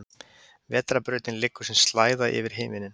vetrarbrautin liggur sem slæða yfir himinninn